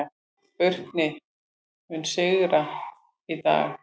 Burkni, mun rigna í dag?